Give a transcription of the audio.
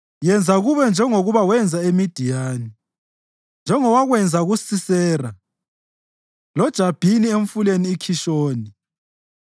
Yenza kubo njengoba wenza eMidiyani, njengowakwenza kuSisera loJabhini emfuleni iKhishoni,